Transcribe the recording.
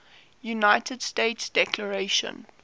united states declaration